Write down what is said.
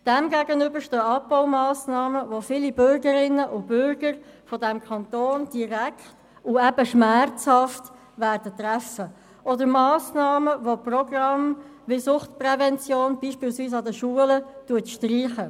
Diesem stehen Abbaumassnahmen gegenüber, die viele Bürgerinnen und Bürger dieses Kantons direkt und eben schmerzhaft treffen werden, ebenso Massnahmen, die Programme wie Suchtprävention, beispielsweise an den Schulen streichen.